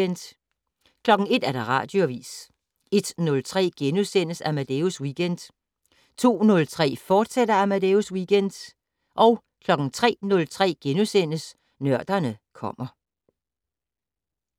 01:00: Radioavis 01:03: Amadeus Weekend * 02:03: Amadeus Weekend, fortsat 03:03: Nørderne kommer *